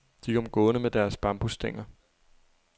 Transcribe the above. De kom gående med deres bambusstænger.